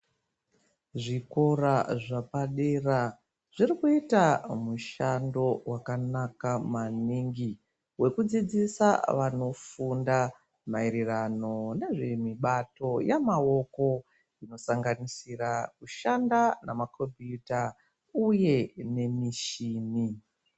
Zvikora zvepadera zviri kuita mushando wakanaka maningi wekudzidzisa vanofunda maererano nezvemibato yemaoko inosanganisira kushanda nemakombiyuta uye nemichini.